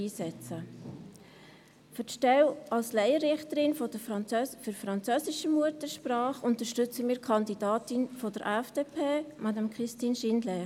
Für die Stelle als Laienrichterin französischer Muttersprache unterstützen wir die Kandidatin der FDP, Madame Christine Schindler.